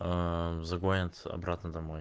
загоняться обратно домой